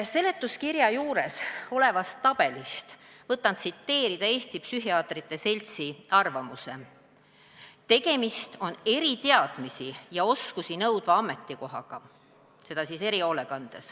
Seletuskirja juures olevast tabelist võtan tsiteerida Eesti Psühhiaatrite Seltsi arvamust: "Tegemist on eriteadmisi ja -oskusi nõudva ametikohaga.